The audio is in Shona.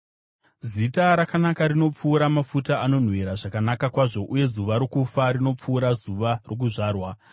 Zita rakanaka rinopfuura mafuta anonhuhwira zvakanaka kwazvo, uye zuva rokufa rinopfuura zuva rokuzvarwa.